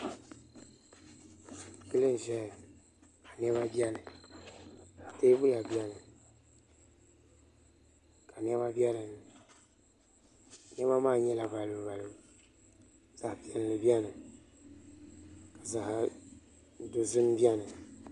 Yili n ʒɛya ka niɛma biɛni ka teebuya biɛni ka niɛma biɛni niɛma maa nyɛla balibu balibu zaɣ piɛlli biɛni zaɣ dozim biɛni